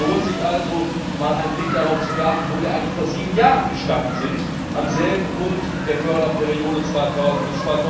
Es lohnt sich also, einmal einen Blick darauf zu werfen, wo wir eigentlich vor sieben Jahren gestanden sind, am selben Punkt der Förderperiode 2000